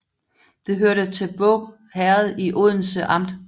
Det hørte til Båg Herred i Odense Amt